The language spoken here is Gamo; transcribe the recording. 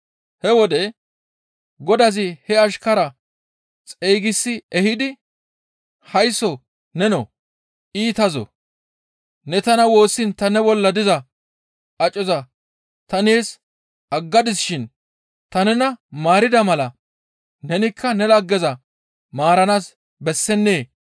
«He wode godazi he ashkaraa xeygisi ehidi, haysso nenoo! Iitazoo, ne tana woossiin ne bolla diza acoza ta nees aggadisi shin ta nena maarida mala nenikka ne laggeza maaranaas bessennee?